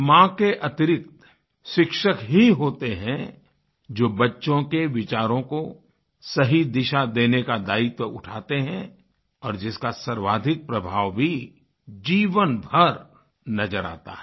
माँ के अतिरिक्त शिक्षक ही होते हैं जो बच्चों के विचारों को सही दिशा देने का दायित्व उठाते हैं और जिसका सर्वाधिक प्रभाव भी जीवन भर नज़र आता है